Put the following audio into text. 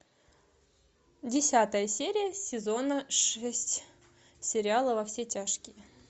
десятая серия сезона шесть сериала во все тяжкие